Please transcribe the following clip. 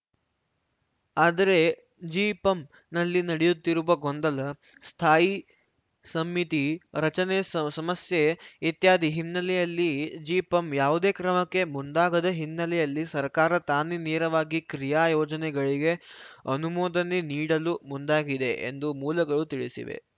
ಆದರೆ ಜಿಪಂ ನಲ್ಲಿ ನಡೆಯುತ್ತಿರುವ ಗೊಂದಲ ಸ್ಥಾಯಿ ಸಮಿತಿ ರಚನೆ ಸ ಸಮಸ್ಯೆ ಇತ್ಯಾದಿ ಹಿನ್ನೆಲೆಯಲ್ಲಿ ಜಿಪಂ ಯಾವುದೇ ಕ್ರಮಕ್ಕೆ ಮುಂದಾಗದ ಹಿನ್ನೆಲೆಯಲ್ಲಿ ಸರ್ಕಾರ ತಾನೇ ನೇರವಾಗಿ ಕ್ರಿಯಾ ಯೋಜನೆಗಳಿಗೆ ಅನುಮೋದನೆ ನೀಡಲು ಮುಂದಾಗಿದೆ ಎಂದು ಮೂಲಗಳು ತಿಳಿಸಿವೆ